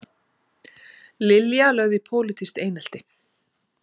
Lilja lögð í pólitískt einelti